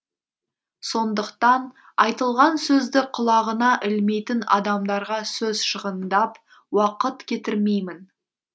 сондықтан айтылған сөзді құлағына ілмейтін адамдарға сөз шығындап уақыт кетірмеймін